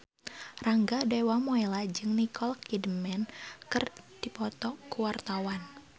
Rangga Dewamoela jeung Nicole Kidman keur dipoto ku wartawan